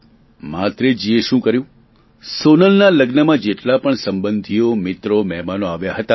મહાત્રેજી એ શું કર્યું સોનલના લગ્નમાં જેટલા પણ સંબંધીઓ મિત્રો મહેમાનો આવ્યા હતા